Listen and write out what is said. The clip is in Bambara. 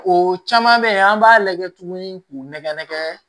O caman bɛ yen an b'a lajɛ tuguni k'u nɛgɛn nɛgɛn